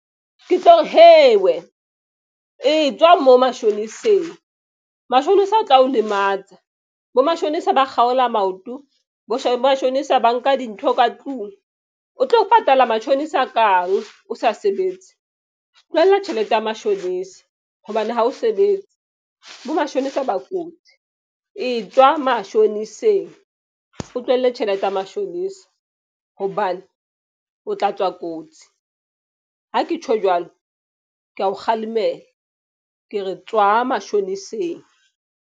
Ke tlo re wena e tswa mo mashoneseng. Mashonisa o tla o lematsa bo mashonisa ba kgaola maoto. Bo mashonisa ba nka dintho ka tlung o tlo patala matjhonisa kang o sa sebetse? Tlohella tjhelete ya mashonisa hobane ha o sebetse bo mashonisa ba kotsi e tswa mashoniseng, o tlohelle tjhelete ya mashonisa. Hobane o tla tswa kotsi. Ha ke tjho jwalo, ke ya o kgalemela ke re tswa mashoniseng.